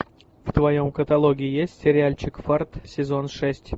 в твоем каталоге есть сериальчик фарт сезон шесть